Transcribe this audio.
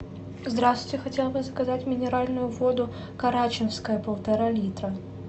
здравствуйте я хотела бы заказать минеральную воду карачинская полтора литра